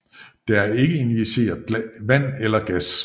Der er ikke injiceret vand eller gas